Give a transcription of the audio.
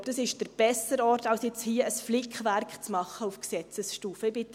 Ich glaube, das ist der bessere Ort, als jetzt hier ein Flickwerk auf Gesetzesstufe zu machen.